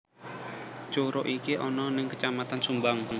Curug iki ana ning kecamatan sumbang